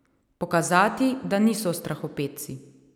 Pokazati, da niso strahopetci.